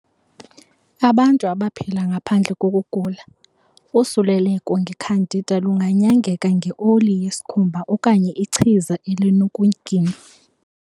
Abantu abaphila ngaphandle kokugula, usuleleko nge-candida lunganyangeka nge-oli yesikhumba okanye ichiza elinokuginywa.